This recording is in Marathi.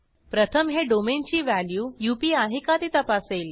प्रथम हे डोमेन ची व्हॅल्यू अप आहे का ते तपासेल